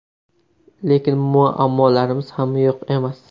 Lekin muammolarimiz ham yo‘q emas.